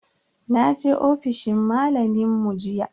Naje ofishin malamin mu jiya.